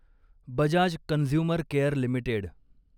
Bajaj consumer care limited